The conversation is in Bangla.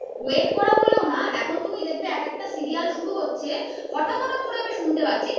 wait করা বলেও না এখন তুমি দেখবে এক একটা serial শুরু হচ্ছে হঠাৎ হঠাৎ করে আমি শুনতে পাচ্ছি যে